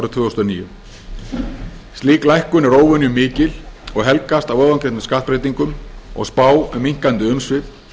þúsund og níu slík lækkun er óvenju mikil og helgast af ofangreindum skattbreytingum og spá um minnkandi umsvif